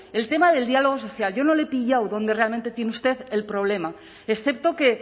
el tema del diálogo social yo no le he pillado dónde realmente tiene usted el problema excepto que